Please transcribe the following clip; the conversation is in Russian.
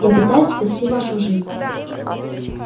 я пытаюсь спасти вашу жизнь